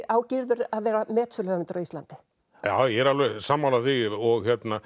á Gyrðir að vera metsöluhöfundur á Íslandi ég er alveg sammála því og